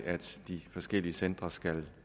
de forskellige centre skal